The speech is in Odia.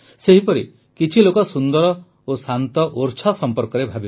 ସେହିପରି କିଛିଲୋକ ସୁନ୍ଦର ଓ ଶାନ୍ତ ଓର୍ଛା ସମ୍ପର୍କରେ ଭାବିବେ